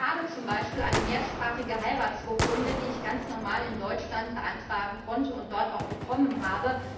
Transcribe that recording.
Ich habe zum Beispiel eine mehrsprachige Heiratsurkunde, die ich ganz normal in Deutschland beantragen konnte und dort auch bekommen habe.